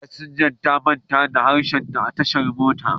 Fasinja ta manta harshenta a tashar mota